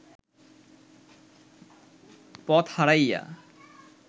পথ হারাইয়া